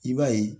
I b'a ye